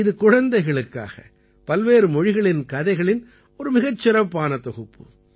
இது குழந்தைகளுக்காக பல்வேறு மொழிகளின் கதைகளின் ஒரு மிகச் சிறப்பான தொகுப்பு